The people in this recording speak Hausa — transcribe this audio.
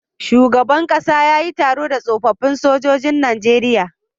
Shugaban ƙasa yayi taro da tsofafin sojojin nageria